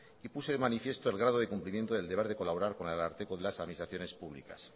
y puse de manifiesto el grado de cumplimiento del deber de colaborar con el ararteko de las administraciones públicas